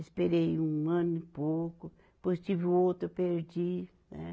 Esperei um ano e pouco, depois tive o outro, eu perdi, né?